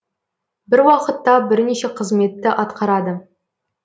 бір уақытта бірнеше қызметті атқарады